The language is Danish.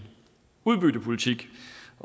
udbyttepolitik